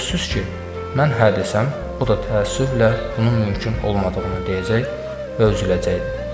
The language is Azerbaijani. Sözsüz ki, mən hə desəm, o da təəssüflə bunun mümkün olmadığını deyəcək və üzüləcəkdi.